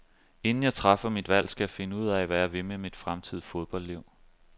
Inden jeg træffer mit valg, skal jeg finde ud af, hvad jeg vil med mit fremtidige fodboldliv.